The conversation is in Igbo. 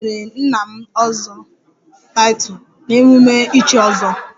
E nyere nna m 'ozo'title at the ozo title taking festival